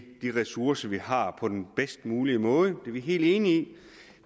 de ressourcer vi har på den bedst mulige måde det er vi helt enige i